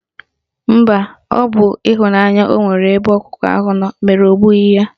Mba, ọ bụ ịhụnanya ọ nwere ebe ọkụkọ ahụ nọ mere o gbughi y